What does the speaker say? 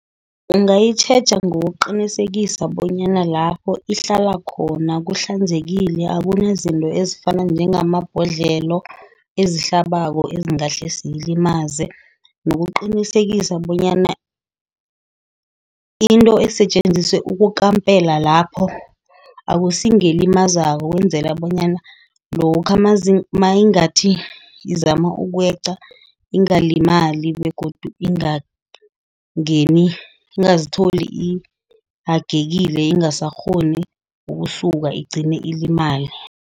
Ungayitjheja ngokuqinisekisa bonyana lapho ihlala khona kuhlanzekile. Akuna izinto ezifana njengamabhodlelo, ezihlabako, ezingahle ziyilimaze. Nokuqinisekisa bonyana into esetjenziswe ukukampela lapho akusi ngelimazako. Ukwenzela bonyana lokha mayingathi izama ukweqa, ingalimali. Begodu ingangeni ingazitholi ihagekile ingasakghoni ukusuka igcine ilimale.